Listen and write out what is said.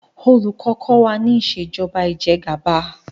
olùkó kò wá nipa Ìṣèjọba Ìjẹgàba